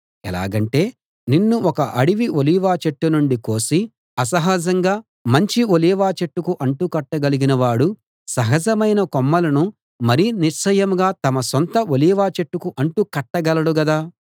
ఎలాగంటే నిన్ను ఒక అడవి ఒలీవ చెట్టు నుండి కోసి అసహజంగా మంచి ఒలీవ చెట్టుకు అంటుకట్టగలిగిన వాడు సహజమైన కొమ్మలను మరి నిశ్చయంగా తమ సొంత ఒలీవ చెట్టుకు అంటుకట్టగలడు కదా